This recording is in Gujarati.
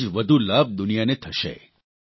તેટલો જ વધુ લાભ દુનિયાને થશે